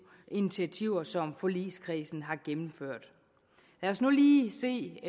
initiativer som forligskredsen har gennemført lad os nu lige se